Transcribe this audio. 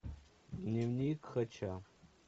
дневник хача